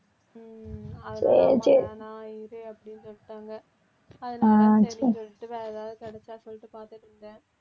உம் அதனால வேணாம் இரு அப்படின்னு சொல்லிட்டாங்க அதனால சரின்னு சொல்லிட்டு வேற ஏதாவது கிடைச்சா சொல்லிட்டு பாத்துட்டிருந்தேன்